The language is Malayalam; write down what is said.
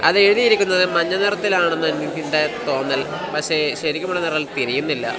അത് എഴുതിയിരിക്കുന്നത് മഞ്ഞ നിറത്തിൽ ആണെന്ന് എനിക്കുണ്ടായ തോന്നൽ പക്ഷേ ശരിക്കുമുള്ള നിറം തിരിയുന്നില്ല.